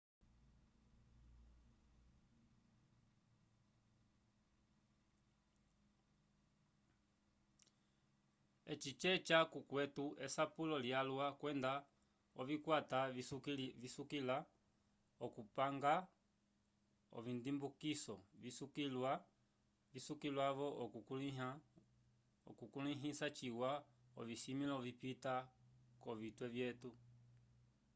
eci ceca k'okwetu esapulo lyalwa kwenda ovikwata visukiliwa k'okupanga ovindimbukiso visukiliwa-vo okukulĩha ciwa ovisimĩlo vipita k'ovitwe vyetu